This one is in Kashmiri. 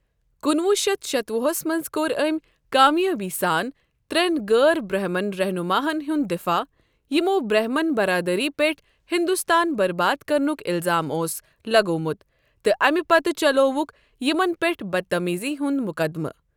کُنہٕ وُہ شتھ شتوُہ ہس منٛز کوٚر أمۍ کامیٲبی سان ترٛٮ۪ن غٲر برہمن رہنماہن ہُنٛد دِفاع یِمَو برہمن برادٲری پٮ۪ٹھ ہندوستان برباد کرنُک الزام اوس لگوٚومُت تہٕ اَمہِ پتہٕ چلوٚوُکھ یِمَن پٮ۪ٹھ بدتمیزی ہُنٛد مقدمہٕ۔